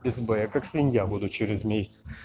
без б как свинья буду через месяц